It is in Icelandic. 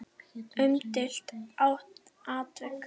Umdeilt atvik?